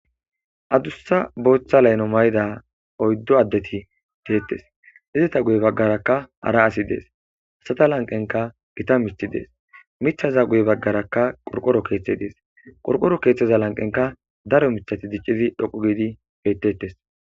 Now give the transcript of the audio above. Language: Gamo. adussa booththa laylo mayda oyddu addeti deettes hizata guye baggarakka ara asi dees hasata lanqenka gita mithi dees mithaza guye baggaraka qorqoro keeththe dees qorqoro keeththeza lanqenka daro mithati diccizi dhoqu giidi bettettes